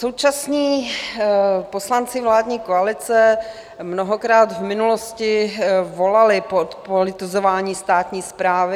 Současní poslanci vládní koalice mnohokrát v minulosti volali po zpolitizování státní správy.